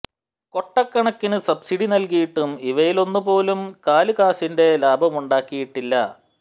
കൊട്ടക്കണക്കിനു subsidy നല്കിയിട്ടും ഇവയിലൊന്ന് പോലും കാല് കാശിന്റെ ലാഭ മുണ്ടാക്കി യിട്ടില്ല